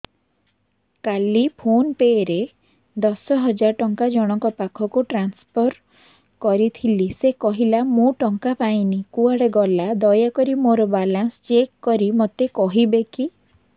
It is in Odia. କାଲି ଫୋନ୍ ପେ ରେ ଦଶ ହଜାର ଟଙ୍କା ଜଣକ ପାଖକୁ ଟ୍ରାନ୍ସଫର୍ କରିଥିଲି ସେ କହିଲା ମୁଁ ଟଙ୍କା ପାଇନି କୁଆଡେ ଗଲା ଦୟାକରି ମୋର ବାଲାନ୍ସ ଚେକ୍ କରି ମୋତେ କହିବେ କି